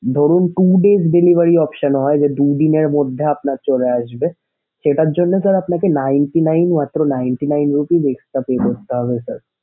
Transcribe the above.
ধরুন two days delivery option হয় যে দুদিনের মধ্যে আপনার চলে আসবে সেটার জন্যে আপনাকে ninety nine মাত্র ninety nine rupees extra pay করতে হবে sir